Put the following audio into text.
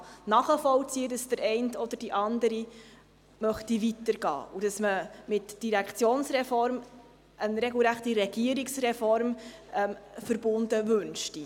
Ich kann nachvollziehen, dass der eine oder die andere weiter gehen möchte und dass man eine regelrechte Regierungsreform mit der Direktionsreform verbunden wünschte.